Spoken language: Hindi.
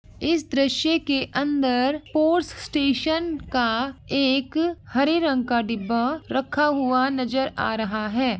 इस दृश्य के अंदर स्पोर्ट्स स्टेशन का एक हरे रंग का डिब्बा रखा हुआ नजर आ रहा है।